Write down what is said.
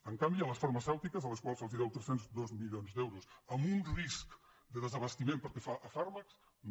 en canvi a les farmacèutiques a les quals se’ls deuen tres cents i dos milions d’euros amb un risc de desabastiment pel que fa a fàrmacs no